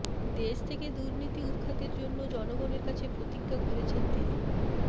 দেশ থেকে দুর্নীতি উৎখাতের জন্য জনগণের কাছে প্রতিজ্ঞা করেছেন তিনি